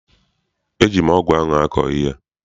Eji m ọgụ ahụ akọ ihe.